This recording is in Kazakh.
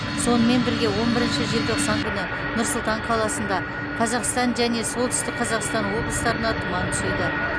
сонымен бірге он бірінші желтоқсан күні нұр сұлтан қаласында қазақстан және солтүстік қазақстан облыстарына тұман түседі